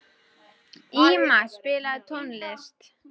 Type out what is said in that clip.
Íma, spilaðu tónlist.